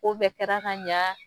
Ko bɛɛ kɛra ka ɲa